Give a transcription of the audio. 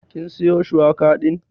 Kin siyo shuwaka din?